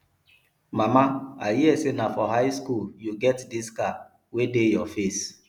mama i hear say na for high school you get dis scar wey dey your face